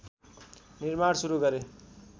निर्माण सुरु गरे